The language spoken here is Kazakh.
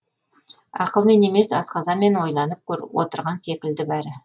ақылмен емес асқазанмен ойланып отырған секілді бәрі